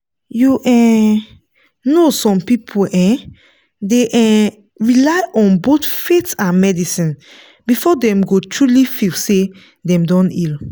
you um know some people um dey um rely on both faith and medicine before dem go truly feel say dem don heal.